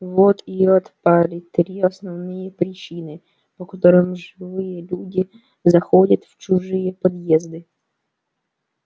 вот и отпали три основные причины по которым живые люди заходят в чужие подъезды